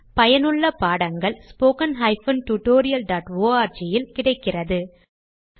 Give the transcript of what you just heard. பயனுள்ள பாடங்கள் spoken tutorialஆர்க் இல் கிடைக்கின்றன